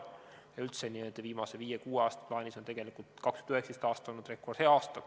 Ja üldse on 2019. aasta viimase viie-kuue aasta plaanis tegelikult olnud rekordhea aasta.